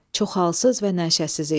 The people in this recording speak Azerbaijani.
Çox halsız və nəşəsiz idi.